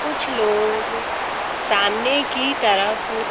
कुछ लोग सामने की तरफ--